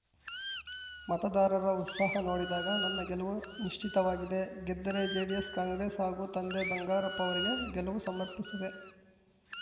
ಮತದಾರರ ಉತ್ಸಾಹ ನೋಡಿದಾಗ ನನ್ನ ಗೆಲುವು ನಿಶ್ಚಿತವಾಗಿದೆ ಗೆದ್ದರೆ ಜೆಡಿಎಸ್‌ ಕಾಂಗ್ರೆಸ್‌ ಹಾಗೂ ತಂದೆ ಬಂಗಾರಪ್ಪ ಅವರಿಗೆ ಗೆಲವು ಸಮರ್ಪಿಸುವೆ